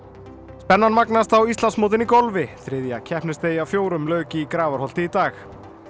spennan magnast á Íslandsmótinu í golfi þriðja keppnisdegi af fjórum lauk í Grafarholti í dag